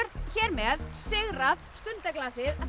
hér með sigrað